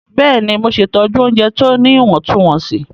Bẹ́ẹ̀ni, Mo ṣẹtọju ọunjẹ ti o ní iwọntunwọnsí.